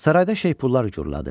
Sarayda şeypullar uğurladı.